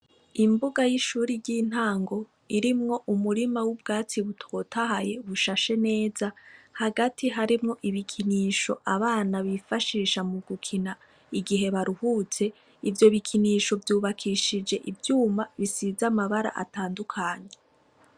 Imbuga y'ishuri ry'intango irimwo umurima w'ubwatsi butotahaye bushashe neza hagati harimwo ibikinisho abana bifashisha mu gukina igihe baruhutse, ivyo bikinisho vyubakishije ivyuma bisiza amabara atandukanye.